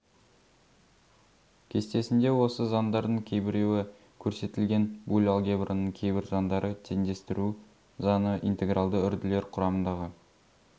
кестесінде осы заңдардың кейбіреуі көрсетілген буль алгебраның кейбір заңдары теңдестіру заңы интегралды үрділер құрамындағы